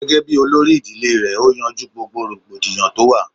Gẹ́gẹ́ bíi olórí ìdílé rẹ̀ ó yanjú rògbòdìyàn tó wà